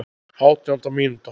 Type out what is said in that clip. Átjánda mínúta.